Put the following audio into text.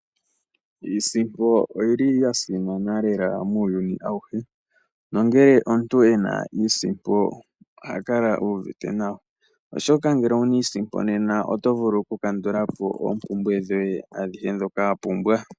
Iisimpo oyili yasimana lela muuyinu awuhe, nongele omuntu ena iisimpo ohakala uuvite nawa. Oshoka ngele owuna iisimpo nena oto vulu okukandulapo oompumbwe dhoye adhihe dhoka wapumbwa..